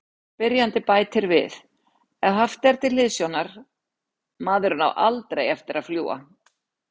Spyrjandi bætir við: Ef haft er til hliðsjónar:.maðurinn á ALDREI eftir að fljúga.